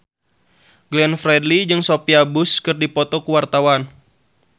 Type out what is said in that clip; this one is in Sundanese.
Glenn Fredly jeung Sophia Bush keur dipoto ku wartawan